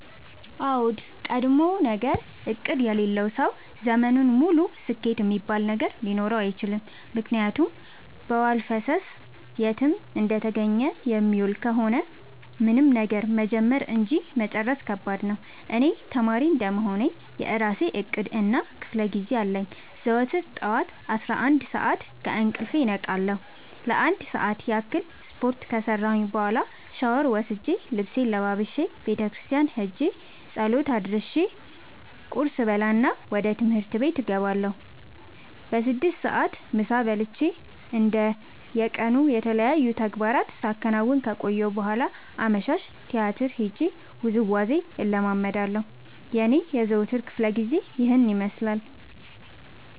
አዎድ ቀድሞነገር እቅድ የሌለው ሰው ዘመኑን ሙሉ ስኬት እሚባል ነገር ሊኖረው አይችልም። ምክንያቱም በዋልፈሰስ የትም እንደተገኘ የሚውል ከሆነ ምንም ነገር መጀመር እንጂ መጨረስ ከባድ ነው። እኔ ተማሪ እንደመሆኔ የእራሴ እቅድ እና ክፋለጊዜ አለኝ። ዘወትር ጠዋት አስራአንድ ሰዓት ከእንቅልፌ እነቃለሁ ለአንድ ሰዓት ያክል ስፓርት ከሰራሁኝ በኋላ ሻውር ወስጄ ልብሴን ለባብሼ ቤተክርስቲያን ኸጄ ፀሎት አድርሼ ቁርስ እበላና ወደ ትምህርት እገባለሁ። በስድስት ሰዓት ምሳ በልቼ እንደ የቀኑ የተለያዩ ተግባራትን ሳከናውን ከቆየሁ በኋላ አመሻሽ ቲያትር ሄጄ ውዝዋዜ እለምዳለሁ የኔ የዘወትር ክፍለጊዜ ይኸን ይመስላል።